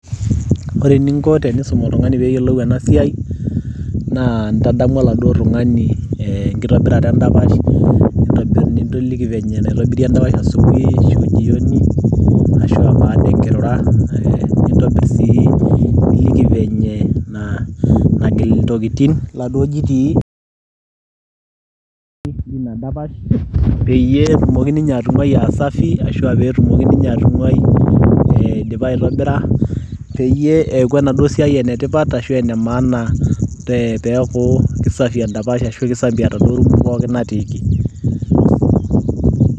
ore eninko piisum oltung'ani peyiolou ena siai naa intadamu oladuo tung'ani eh, enkitobirata endapash nintobirr niliki venye enaitobiri endapash asubuhi ashu jioni ashua baada enkirura kake nintobirr sii niliki venye naa nagil intokitin iladuo jitii linadapash peyie etumoki ninye atung'uai aa safi ashua petumoki ninye atung'uai eh, eidipa aitobira peyie eeku enaduo siai enetipat ashu ene maana te teeku kisafi endapash ashu kisafi enaduo rumu pookin natiiki.